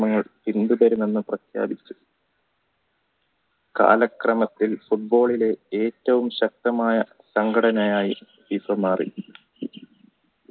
കാലക്രമത്തിൽ football ലെ ഏറ്റവും ശക്തമായ സംഘടനയായി FIFA മാറി